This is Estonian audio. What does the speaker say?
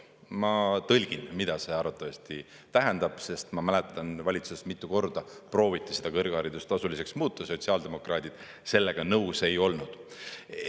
Ma tõlgin, mida see arvatavasti tähendab, sest ma mäletan, valitsuses mitu korda prooviti seda kõrgharidust tasuliseks muuta, sotsiaaldemokraadid sellega nõus ei olnud.